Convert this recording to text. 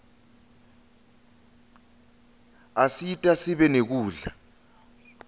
asita sibe nekudla